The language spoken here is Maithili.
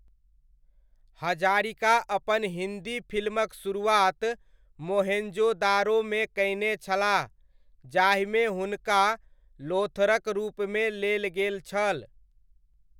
हजारिका अपन हिन्दी फ़िल्मक शुरुआत मोहेन्जोदारोमे कयने छलाह, जाहिमे हुनका लोथरक रूपमे लेल गेल छल।